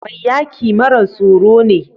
Mai yaki mara tsoro ne.